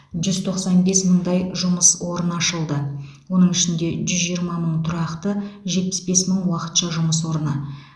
жүз тоқсан бес мыңдай жұмыс орны ашылды оның ішінде жүз жиырма мың тұрақты жетпіс бес мың уақытша жұмыс орны